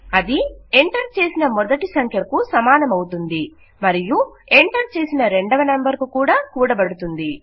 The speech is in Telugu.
అది ఎంటర్ చేసిన మొదటి సంఖ్యకు సమానమవుతుంది మరియు ఎంటర్ చేసిన రెండవ నంబర్ కు కూడబడుతుంది